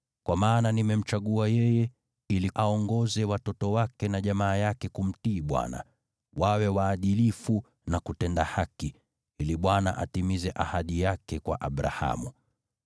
Kwa maana nimemchagua yeye, ili awaongoze watoto wake na jamaa yake kufuata njia ya Bwana , kwa kuwa waadilifu na kutenda haki, ili Bwana atimize ahadi yake kwa Abrahamu.”